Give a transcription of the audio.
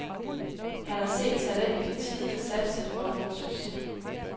Han har set talentet i tide, satset og fået succes.